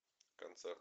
концерт